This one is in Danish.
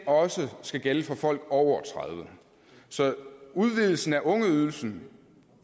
også skal gælde for folk over tredive år så udvidelsen af ungeydelsen